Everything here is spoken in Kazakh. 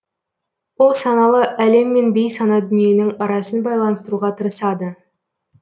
ол саналы әлем мен бейсана дүниенің арасын байланыстыруға тырысады